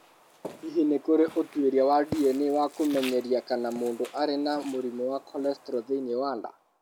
Hihi nĩ kũrĩ ũtuĩria wa DNA wa kũmenyeria kana mũndũ arĩ na mũrimũ wa cholesterol thĩinĩ wa nda?